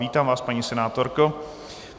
Vítám vás, paní senátorko.